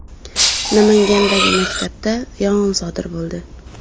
Namangandagi maktabda yong‘in sodir bo‘ldi.